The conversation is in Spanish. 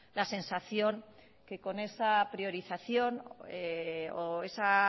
la sensación que con esa priorización o esa